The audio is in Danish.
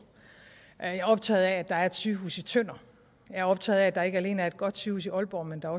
jeg er optaget af at der er et sygehus i tønder jeg er optaget af at der ikke alene er et godt sygehus i aalborg men at